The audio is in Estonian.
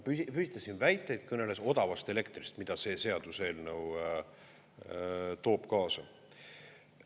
Püstitas siin väiteid, kõneles odavast elektrist, mida see seaduseelnõu toob kaasa.